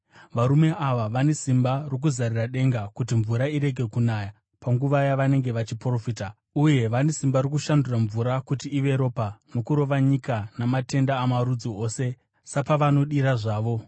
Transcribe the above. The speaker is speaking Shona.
Varume ava vane simba rokuzarira denga kuti mvura irege kunaya panguva yavanenge vachiprofita; uye vane simba rokushandura mvura kuti ive ropa nokurova nyika namatenda amarudzi ose sapavanodira zvavo.